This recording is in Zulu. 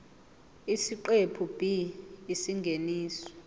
isiqephu b isingeniso